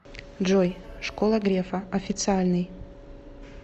джой школа грефа официальный